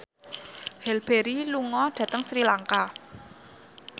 Halle Berry lunga dhateng Sri Lanka